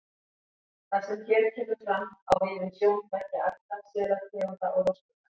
Það sem hér kemur fram, á við um sjón beggja ætta selategunda og rostunga.